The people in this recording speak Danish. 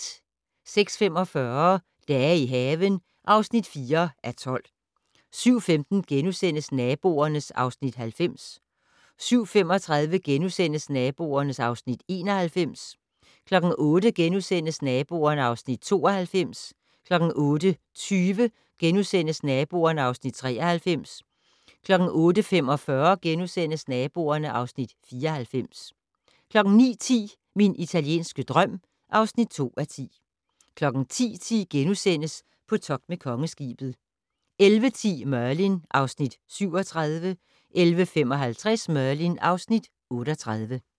06:45: Dage i haven (4:12) 07:15: Naboerne (Afs. 90)* 07:35: Naboerne (Afs. 91)* 08:00: Naboerne (Afs. 92)* 08:20: Naboerne (Afs. 93)* 08:45: Naboerne (Afs. 94)* 09:10: Min italienske drøm (2:10) 10:10: På togt med Kongeskibet * 11:10: Merlin (Afs. 37) 11:55: Merlin (Afs. 38)